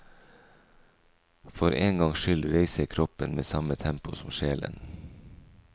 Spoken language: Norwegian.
For en gangs skyld reiser kroppen med samme tempo som sjelen.